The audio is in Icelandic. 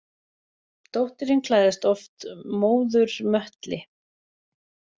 Dóttirin klæðist oft móður möttli.